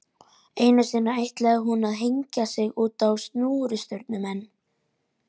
Einu sinni ætlaði hún að hengja sig útá snúrustaurnum en